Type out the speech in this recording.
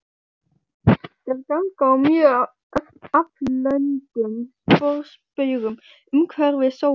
Þær ganga á mjög aflöngum sporbaugum umhverfis sólu.